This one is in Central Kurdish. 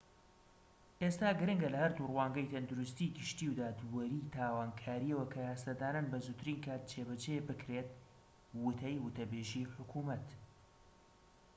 ئێستا گرنگە لە هەردوو ڕوانگەی تەندروستی گشتی و دادوەری تاوانکاریەوە کە یاسادانان بە زووترین کات جێبەجێ بکرێت وتەی وتەبێژی حکومەت